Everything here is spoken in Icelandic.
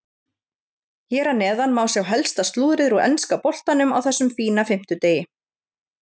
Hér að neðan má sjá helsta slúðrið úr enska boltanum á þessum fína fimmtudegi.